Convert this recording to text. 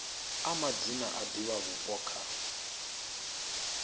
a madzina a divhavhupo kha